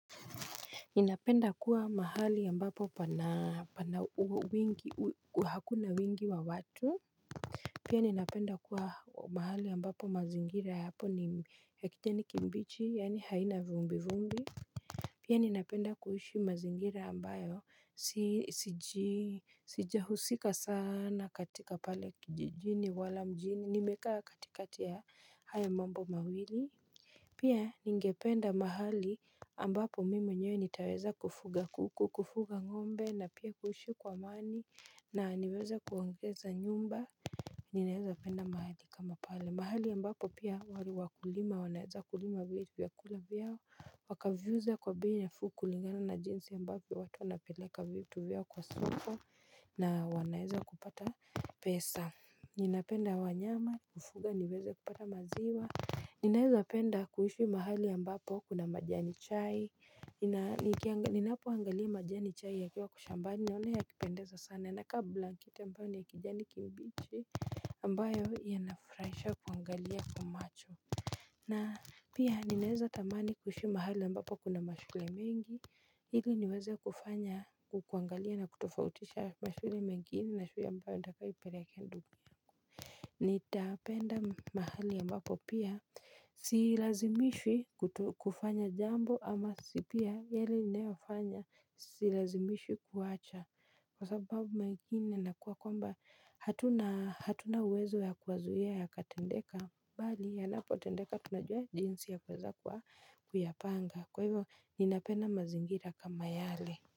Ninapenda kuwa mahali ambapo hakuna wingi wa watu Pia ninapenda kuwa mahali ambapo mazingira yapo ni ya kijani kimbichi yaani haina vumbi vumbi Pia ninapenda kuishi mazingira ambayo sijahusika sana katika pale kijijini wala mjini nimekaa katikati ya haya mambo mawili Pia ningependa mahali ambapo mimi mwenyewe nitaweza kufuga kuku, kufuga ng'ombe na pia kuishi kwa amani na niweze kuongeza nyumba, ninaweza penda mahali kama pale. Mahali ambapo pia wale wakulima, wanaweza kulima vitu vya kula vyao, wakaviuza kwa bei nafuu kulingana na jinsi ambapo watu wanapeleka vitu vyao kwa soko na wanaeza kupata pesa. Ninapenda wanyama kufuga niweze kupata maziwa Ninaweza penda kuhishi mahali ambapo kuna majani chai Ninapo angalia majani chai ya kiwa kwa shambani nione ya kipendeza sana na kwa blanketi ambayo ni ya kijani kimbichi ambayo ya nafuraisha kuangalia kwa macho na pia ninaweza tamani kuhishi mahali ambapo kuna mashule mengi hili niweze kufanya kuangalia na kutofautisha mashule mengine na shule ambayo inafaa nipeleke ndugu nitapenda mahali ambapo pia silazimishwi kufanya jambo ama si pia yale ninayofanya silazimishwi kuacha kwa sababu mara ingine nakuwa kwamba hatuna hatuna uwezo ya kuwazuia ya katendeka bali ya napotendeka tunajua jinsi ya kuweza kwa kuyapanga kwa hivyo ninapenda mazingira kama yale.